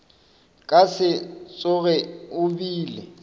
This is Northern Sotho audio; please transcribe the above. ka se tsoge o bile